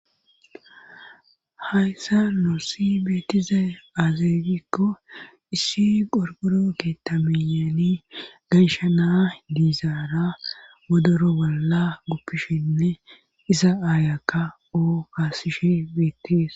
hayssa noossi beetizay azeegikko issi gorguro keeta miyani ganshana diizaara wodoro bolla guppishinne iza aayakka oo kaasishi beettis